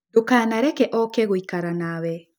Ndũkanareke oke gũikara nawe.